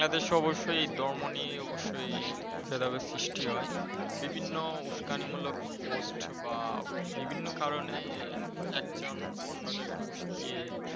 বাংলা দেশে অবশ্যই ধর্ম নিয়ে অবশ্যই ভেদাভেদের সৃষ্টি হয়। বিভিন্ন উস্কানি মুলক Post বা বিভিন্ন কারনে একজন অন্যজনকে উস্কিয়ে